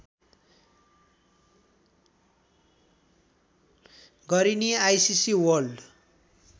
गरिने ICC world